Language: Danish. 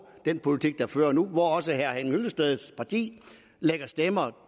den politik der føres nu hvor også herre henning hyllesteds parti lægger stemmer